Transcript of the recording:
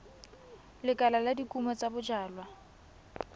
lekala la dikumo tsa bojalwa